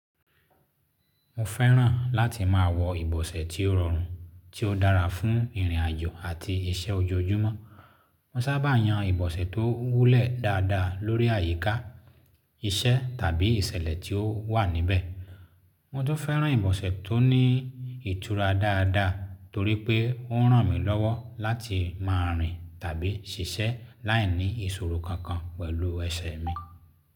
Mo fẹ́ràn láti máa wọ ibọsẹ tí ó rọrùn, tí ó dára fún ìrìnàjò àti iṣẹ́ ojoojúmọ́. Mo sábà yan ibọsẹ tó wúlẹ̀ dáadáa lórí àyíká, iṣẹ́ tàbí ìṣẹ̀lẹ̀ tí ó wà níbẹ̀. Mo tún fẹ́ràn ibọsẹ tó ní ìtura dáadáa torí pé ó ń ràn mí lọ́wọ́ láti máa rìn tàbí ṣiṣẹ́ láì ní ìṣòro kankan pẹ̀lú ẹsẹ̀ mi.